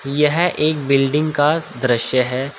यह एक बिल्डिंग का दृश्य है।